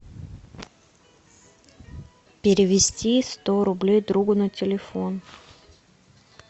перевести сто рублей другу на телефон